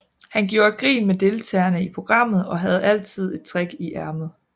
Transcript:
Han gjorde grin med deltagerne i programmet og havde altid et trick i ærmet